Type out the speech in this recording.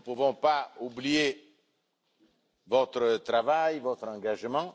Nous ne pouvons pas oublier votre travail et votre engagement.